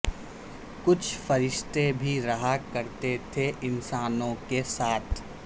کچھ فرشتے بھی رہا کر تے تھے انسانوں کیساتھ